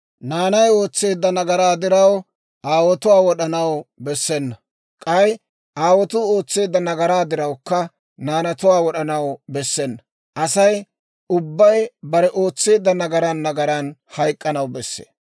«Naanay ootseedda nagaraa diraw, aawotuwaa wod'anaw bessena; k'ay aawotuu ootseedda nagaraa dirawukka, naanatuwaa wod'anaw bessena. Asay ubbay bare ootseedda nagaran nagaran hayk'k'anaw besse.